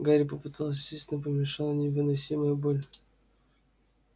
гарри попытался сесть но помешала невыносимая боль